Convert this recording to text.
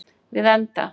Við enda